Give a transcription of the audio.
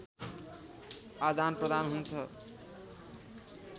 आदानप्रदान हुन्छ